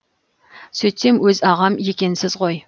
сөйтсем өз ағам екенсіз ғой